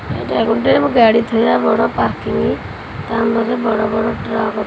ଏଇଟା ଗୋଟେ ଓ ଗାଡି ଥୋଇବା ବଡ଼ ପାର୍କିଂ ତା ମାନେ ବଡ଼ ବଡ଼ ଟ୍ରକ୍ --